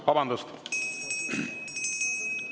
Vabandust!